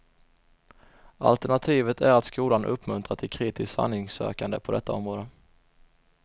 Alternativet är att skolan uppmuntrar till kritiskt sanningssökande på detta område.